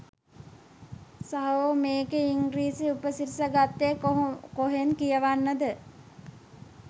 සහෝ මේකේ ඉංගිරිසි උපසිරසි ගත්තේ කොහෙන්ද කියනවද?